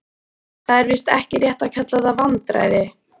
Það er víst ekki rétt að kalla það vandræði.